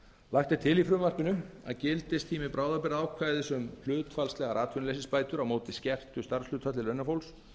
lagt er til að gildistími bráðabirgðaákvæðis um hlutfallslegar atvinnuleysisbætur á móti skertu starfshlutfalli launafólks